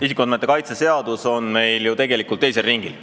Isikuandmete kaitse seadus on meil ju tegelikult teisel ringil.